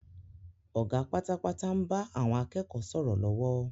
Ọ̀gá pátápátá ń bá àwọn akẹ́kọ̀ọ́ sọ̀rọ̀ lọ́wọ́